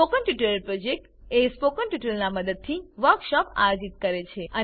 spoken tutorial project team spoken ટ્યુટોરીયલોનાં ઉપયોગથી વર્કશોપો આયોજિત કરે છે